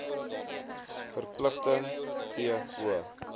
verpligting t o